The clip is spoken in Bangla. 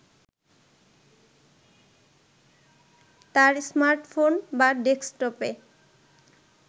তার স্মার্টফোন বা ডেস্কটপে